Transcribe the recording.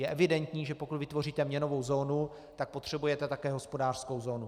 Je evidentní, že pokud vytvoříte měnovou zónu, tak potřebujete také hospodářskou zónu.